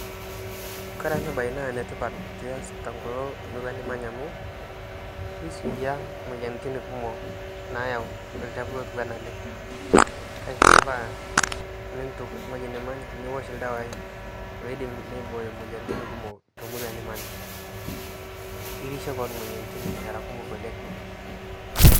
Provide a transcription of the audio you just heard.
Kore ana bayi naa netipat pias to nkoloo murua nimanyaa amu keisuia moyianitin amu keisuia moyianitin kumook nayau lchafuu otuua anaa alee. Keifaa niituuk ng'ojii nimanyaa niosh ldewa loidiim neibooyo moyiantin kumook to ng'oji nimanyaa. Irishee koon moyianitin eraa kumook oleng.